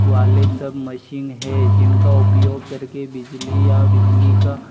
वाले सब मशीन है जिनका उपयोग करके बिजली या बिजली का--